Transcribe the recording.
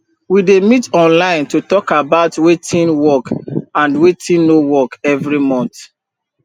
we dey meet online to talk about wetin work and wetin no work every month